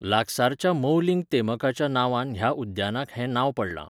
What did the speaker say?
लागसारच्या मौलिंग तेमकाच्या नांवान ह्या उद्यानाक हें नांव पडलां.